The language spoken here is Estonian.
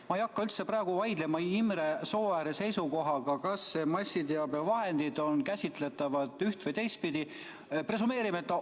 Ma ei hakka praegu üldse vaidlema Imre Sooääre seisukohaga, kas massiteabevahendid on käsitletavad üht- või teistpidi.